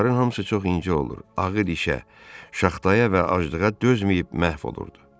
Onların hamısı çox incə olur, ağır işə, şaxtaya və aclığa dözməyib məhv olurdu.